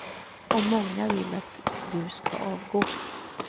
Och många vill att du ska avgå.